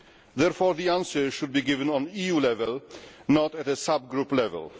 Therefore the answer should be given at EU level, not at a subgroup level.